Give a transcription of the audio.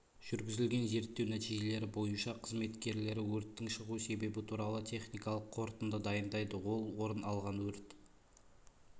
жүргізілген зерттеу нәтижелері бойынша қызметкерлері өрттің шығу себебі туралы техникалық қорытынды дайындайды ол орын алған өрт